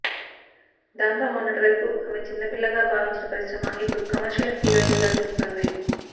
దాంతో మొన్నటివరకు ఆమె చిన్నపిల్లగా భావించిన పరిశ్రమ ఇప్పుడు కమర్షియల్ హీరోయిన్ గా చూస్తుంది